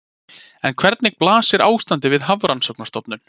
En hvernig blasir ástandið við Hafrannsóknastofnun?